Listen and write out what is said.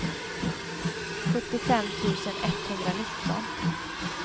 sjuttiofem tusen etthundranitton